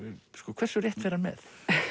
hversu rétt fer hann með